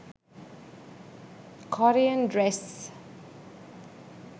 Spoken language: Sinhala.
korean dress